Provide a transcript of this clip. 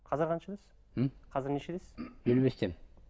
қазір қаншадасыз м қазір нешедесіз елу бестемін